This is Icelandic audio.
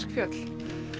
fjöll